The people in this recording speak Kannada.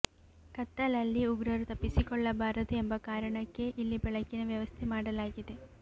ಕತ್ತಲಲ್ಲಿ ಉಗ್ರರು ತಪ್ಪಿಸಿಕೊಳ್ಳಬಾರದು ಎಂಬ ಕಾರಣಕ್ಕೆ ಇಲ್ಲಿ ಬೆಳಕಿನ ವ್ಯವಸ್ಥೆ ಮಾಡಲಾಗಿದೆ